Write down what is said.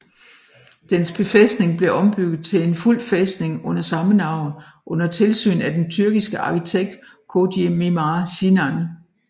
Dens befæstning blev ombygget til en fuld fæstning under samme navn under tilsyn af den tyrkiske arkitekt Koji Mimar Sinan